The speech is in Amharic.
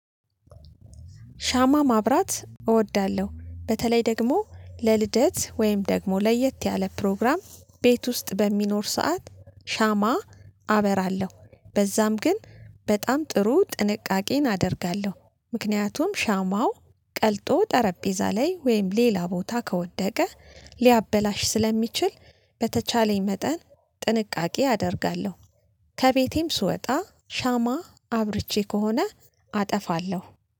ሻማ ማብራት እወዳለሁ በተለይ ደግሞ ለልደት ወይም ደግሞ ለየት ያለ ፕሮግራም ቤት ውስጥ በሚኖር ሰዓት ሻማ አበራለሁ በዛም ግን በጣም ጥሩ ጥንቃቄን አደርጋለሁ። ምክንያቱም ሻማው ቀልጦ ጠረጴዛ ላይ ወይም ሌላ ቦታ ከወደቀ ሊያበላሽ ስለሚችል በተቻለኝ መጠን ጥንቃቄ አደርጋለሁ። ከቤቴም ስወጣ ሻማ አብርቼ ከሆነ አጠፋለሁ